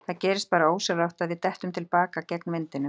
Það gerist bara ósjálfrátt að við dettum til baka gegn vindinum.